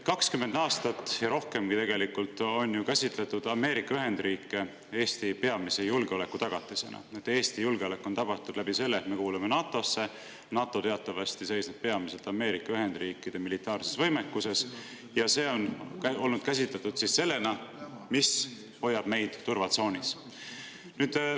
20 aastat ja rohkemgi on ju käsitletud Ameerika Ühendriike Eesti peamise julgeolekutagatisena: Eesti julgeolek on tagatud läbi selle, et me kuulume NATO‑sse, NATO teatavasti seisneb peamiselt Ameerika Ühendriikide militaarses võimekuses ja seda on käsitletud sellena, mis hoiab meid turvatsoonis.